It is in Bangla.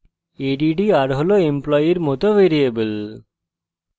addr হল এমপ্লয়ের মত ভ্যারিয়েবল